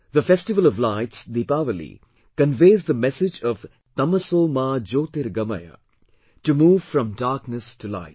The festival of lights Deepawali conveys the message of 'TAMSO MA JYOTIRGAMAYA', to move from darkness to light